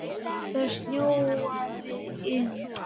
Það snjóaði inn.